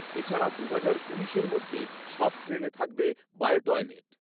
এছাড়া দুহাজার উনিশের মধ্যে সব ট্রেনে থাকবে বায়ো টয়লেট৷